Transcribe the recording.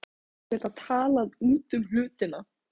Gott að geta talað út um hlutina.